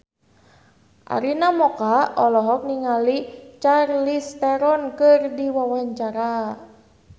Arina Mocca olohok ningali Charlize Theron keur diwawancara